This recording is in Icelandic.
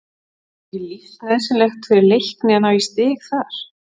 Er ekki lífsnauðsynlegt fyrir Leikni að ná í stig þar?